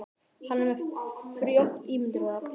Hann er með frjótt ímyndunarafl.